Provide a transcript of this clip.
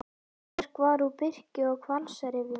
Tréverk var úr birki og hvalsrifjum.